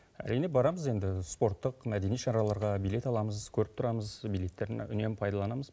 әрине барамыз енді спорттық мәдени шараларға билет аламыз көріп тұрамыз билеттерін үнемі пайдаланамыз